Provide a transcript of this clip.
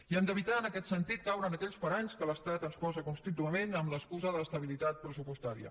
i hem d’evitar en aquest sentit caure en aquells paranys que l’estat ens posa contínuament amb l’excusa de l’estabilitat pressupostària